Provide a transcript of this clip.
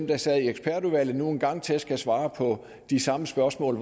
der sad i ekspertudvalget som nu en gang til skal svare på de samme spørgsmål